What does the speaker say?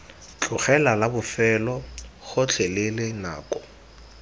tlogela la bofelo gotlhelele nako